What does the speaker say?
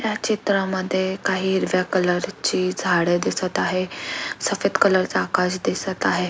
या चित्रामध्ये काही हिरव्या कलर ची झाड दिसत आहे सफ़ेद कलर चा आकाश दिसत आहे.